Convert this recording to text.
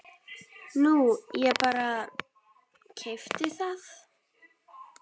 Nú ég bara. keypti það.